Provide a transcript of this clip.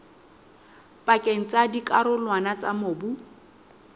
pakeng tsa dikarolwana tsa mobu